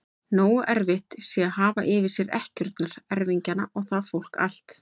Nógu erfitt sé að hafa yfir sér ekkjurnar, erfingjana og það fólk allt!